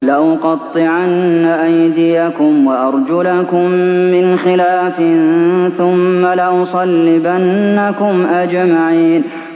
لَأُقَطِّعَنَّ أَيْدِيَكُمْ وَأَرْجُلَكُم مِّنْ خِلَافٍ ثُمَّ لَأُصَلِّبَنَّكُمْ أَجْمَعِينَ